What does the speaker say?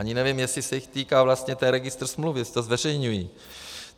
Ani nevím, jestli se jich týká vlastně ten registr smluv, jestli to zveřejňují.